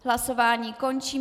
Hlasování končím.